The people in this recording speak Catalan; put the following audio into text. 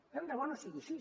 tant de bo no sigui així